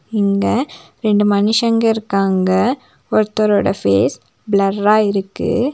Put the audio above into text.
இங்க ரெண்டு மனுஷங்க இருக்காங்க ஒருத்தரோட ஃபேஸ் ப்ளர்ரா இருக்கு.